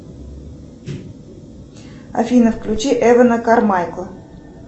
афина включи эвана кармайкла